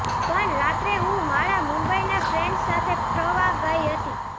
પણ રાત્રે હું મારા મુંબઇના ફ્રેન્ડ્સ સાથે ફ્રવા ગઇ હતી